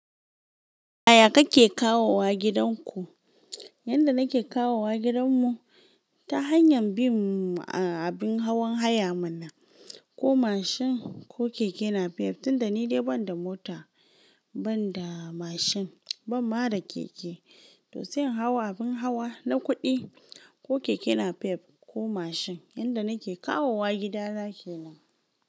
Aya kake kawowa gidanku? Yanda nake kawowa gidanmu ta hanyar bin abin hawan haya mana ko mashin ko keke napep, tunda ni dai banda mota, banda mashin ban mada keke, to sai in hau abin hawa na kuɗi ko keke napep ko mashin yanda nake kawowa gida na kenan.